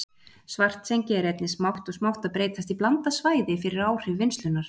Svartsengi er einnig smátt og smátt að breytast í blandað svæði fyrir áhrif vinnslunnar.